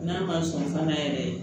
N'a ma sɔn fana yɛrɛ